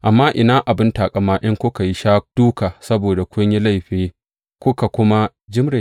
Amma ina abin taƙama in kuka sha duka saboda kun yi laifi kuka kuma jimre?